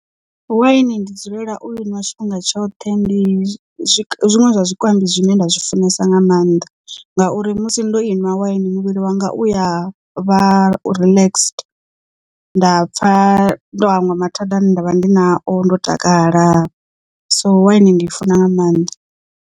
Waini ndi dzulela u iwa tshifhinga tshoṱhe ndi zwiṅwe zwa zwikambi zwine nda zwi funesa nga maanḓa ngauri musi ndo inwa waini muvhili wanga uya vha relaxed nda pfha ndo hangwa mathada ane ndavha ndi na o ndo takala so waini ndiifuna nga maanḓa.